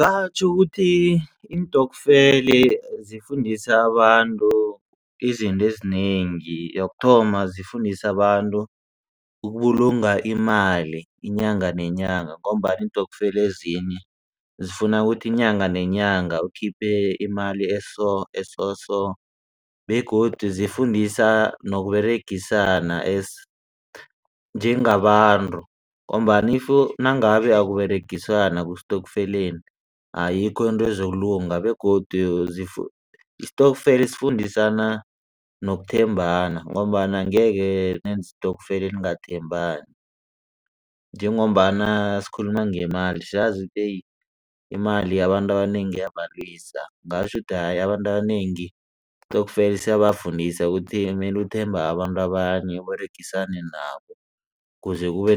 Batjho ukuthi iintokfela zifundisa abantu izinto ezinengi. Yokuthoma zifundisa abantu ukubulunga imali inyanga nenyanga ngombana iintokfeli ezinye zifuna kuthi inyanga nenyanga ukhiphe imali eso soso begodu zifundisa noberegisana as njengabantu ngombana if nangabe akuberegisanwa ku-stokfeleni ayikho into ezokulunga begodu isitokfela sifundisana nokuthembana ngombana angekhe nenze isitokfela ningathembani. Njengombana sikhuluma ngemali siyazi ukuthi yeyi imali abantu abanengi iyabalwisa. Ngitjho ukuthi hayi abantu abanengi isitokfeli siyafundisa ukuthi kumele uthembe abanye abantu uberegisane nabo ukuze kube